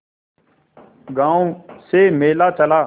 गांव से मेला चला